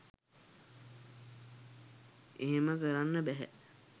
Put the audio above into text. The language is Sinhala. එහෙම කරන්න බැහැ